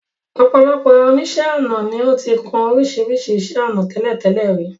Ọ̀pọ̀ àwọn oníṣẹ́ ọnà ni ó ti kun oríṣiríṣi iṣẹ́ ọnà tẹ́lẹ̀tẹ́lẹ̀ rí.